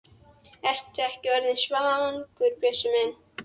Ertu ekki orðinn svangur, Bjössi minn?